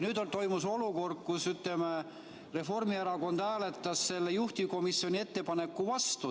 Nüüd toimus olukord, kus ütleme, Reformierakond hääletas juhtivkomisjoni ettepaneku vastu.